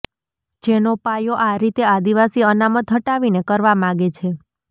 જેનો પાયો આ રીતે આદિવાસી અનામત હટાવીને કરવા માગે છે